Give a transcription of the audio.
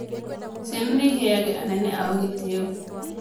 Ciana nĩ iheage anene aao gĩtĩo